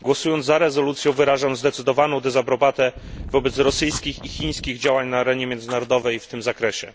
Głosując za rezolucją, wyrażam zdecydowaną dezaprobatę wobec rosyjskich i chińskich działań na arenie międzynarodowej w tym zakresie.